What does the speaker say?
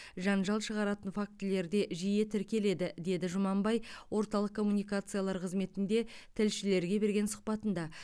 жанжал шығаратын фактілер де жиі тіркеледі деді жұманбай орталық коммуникациялар қызметінде тілшілерге берген сұхбатында